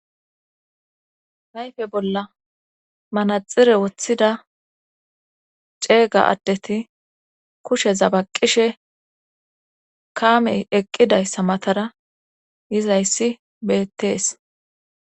nayfe bolla manaxire woththida ceega addeti kushe zabaqishe kaamey eqqidayssa matara yizayssi beettees